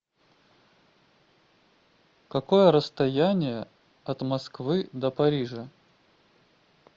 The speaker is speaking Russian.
какое расстояние от москвы до парижа